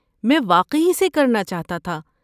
میں واقعی اسے کرنا چاہتا تھا۔